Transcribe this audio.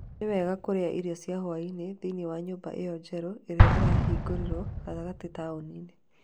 Nĩ wega kũrĩa irio cia hwaĩ-inĩ thĩinĩ wa nyũmba ĩyo njerũ ĩrĩa ĩhingũrirũo gatagatĩ taũni-inĩ.